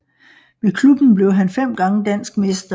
Med klubben blev han fem gange dansk mester